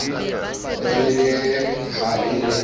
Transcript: re le ha e le